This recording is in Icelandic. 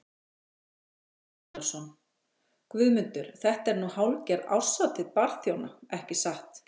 Gunnar Atli Gunnarsson: Guðmundur þetta er nú hálfgerð árshátíð barþjóna ekki satt?